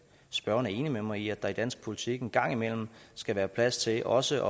spørgeren er enig med mig i at der i dansk politik en gang imellem skal være plads til også